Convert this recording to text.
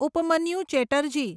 Upamanyu Chatterjee